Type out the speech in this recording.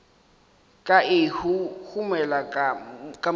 ka e huhumela ka moriting